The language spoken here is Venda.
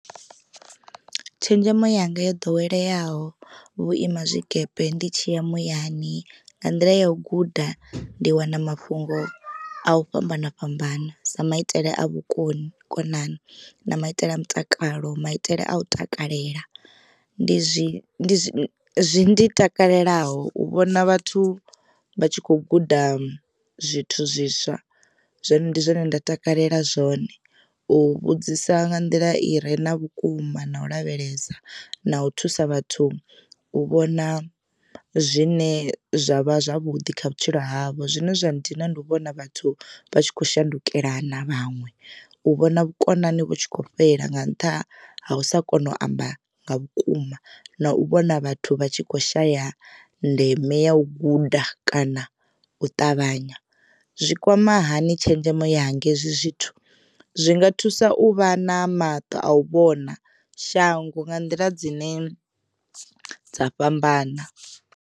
Tshenzhemo yanga yo ḓoweleyaho vhuima zwikepe ndi tshi ya muyani nga nḓila ya u guda ndi wana mafhungo a u fhambana fhambana sa maitele a vhukonani na maitele a mutakalo maitele a u takalela. Ndi zwi zwi takalela u vhona vhathu vha tshi kho guda zwithu zwiswa zwino ndi zwone nda takalela zwone. U vhudzisa nga nḓila i re na vhukuma na u lavhelesa na u thusa vhathu u vhona zwine zwavha zwavhuḓi kha vhutshilo havho. Zwine zwa ndina ndi u vhona vhathu vha tshi kho shandukelana vhaṅwe, u vhona vhukonani vhu tshi kho fhela nga nṱha ha u sa kona u amba nga vhukuma na u vhona vhathu vha tshi kho shaya ndeme ya u guda kana u ṱavhanya. Zwi kwama hani tshenzhemo ya nga hezwi zwithu zwi nga thusa uvha na maṱo a u vhona shango nga nḓila dzine dza fhambana.